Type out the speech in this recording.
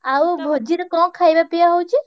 ଆଉ ଭୋଜିରେ କଣ ଖାଇବା ପିଆ ହଉଛି?